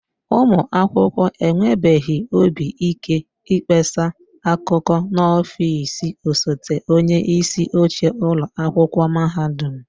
Ụmụ akwụkwọ enwebeghị obi ike ịkpesa akụkọ n'ọfịs osote onyeisi oche ụlọ akwụkwọ mahadum